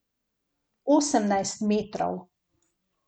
Osemnajst metrov.